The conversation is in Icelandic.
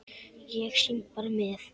Ég syng bara með.